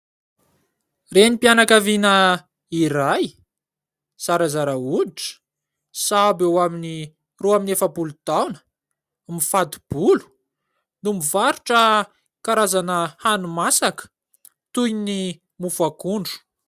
Renim-pianakaviana iray zarazara hoditra sahabo eo amin'ny roa amby efapolo taona, mifato-bolo no mivarotra karazana hani-masaka toy ny mofo akondro.